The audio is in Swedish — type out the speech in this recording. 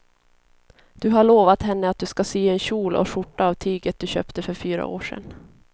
Du har lovat henne att du ska sy en kjol och skjorta av tyget du köpte för fyra år sedan.